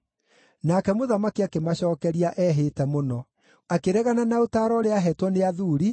Nake mũthamaki akĩmacookeria ehĩte mũno. Akĩregana na ũtaaro ũrĩa aaheetwo nĩ athuuri,